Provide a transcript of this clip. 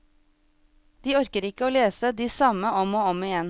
De orker ikke å lese de samme om og om igjen.